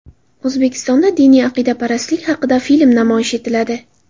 O‘zbekistonda diniy aqidaparastlik haqida film namoyish etiladi.